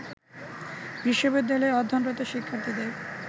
বিশ্ববিদ্যালয়ে অধ্যয়নরত শিক্ষার্থীদের